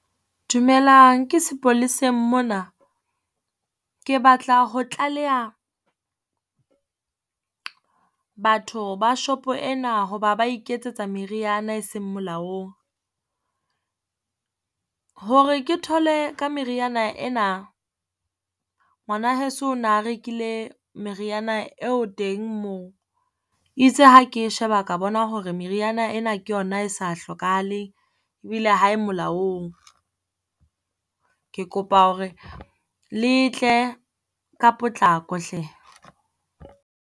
Dumelang ke sepoleseng mona? Ke batla ho tlaleha batho ba shopo ena ho ba ba iketsetsa meriana e seng molaong. Hore ke thole ka meriana ena, ngwana heso na rekile meriana eo teng moo, e itse ha ke e sheba ka bona hore meriana ena ke yona e sa hlokahale, ebile ha e molaong. Ke kopa hore le tle ka potlako hle.